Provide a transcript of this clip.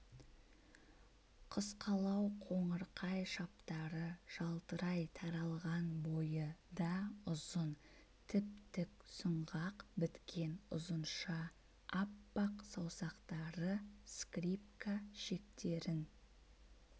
қысқалау қоңырқай шаптары жалтырай таралған бойы да ұзын тіп-тік сүңғақ біткен ұзынша аппақ саусақтары скрипка шектерін